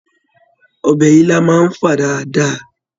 Ọbẹ̀ ilá náà ń fà dáadáa.